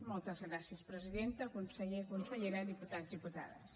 moltes gràcies presidenta conseller consellera diputats diputades